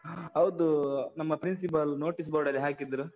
ಹ ಹೌದು, ನಮ್ಮ Principal notice board ಅಲ್ಲಿ ಹಾಕಿದ್ರು.